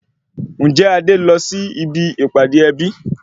Ǹjẹ́ Adé lọ sí ibi ìpàdé ẹbí